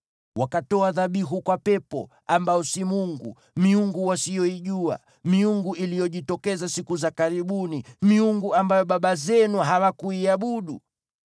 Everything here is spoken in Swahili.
Wakatoa dhabihu kwa pepo, ambao si Mungu: miungu wasiyoijua, miungu iliyojitokeza siku za karibuni, miungu ambayo baba zenu hawakuiogopa.